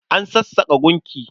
An sassaƙa gunki.